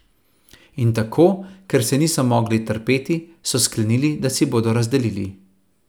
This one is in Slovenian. In tako, ker se niso mogli trpeti, so sklenili, da si bodo razdelili.